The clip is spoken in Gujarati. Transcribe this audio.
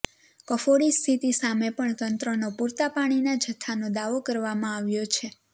કફોડી સ્થિતી સામે પણ તંત્રનો પૂરતા પાણીના જથ્થાનો દાવો કરવામાં આવ્યો છે